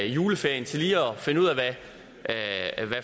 juleferien til lige at finde ud af hvad